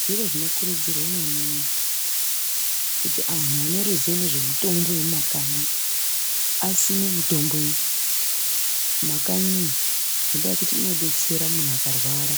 Zviro zvinokurudzirwa maningi kuti anhu aneruziwo nezvemutombo wemumakanyi asime mitombo iyi mumakanyiyo, ngendaa yekuti inodetsera munhu akarwara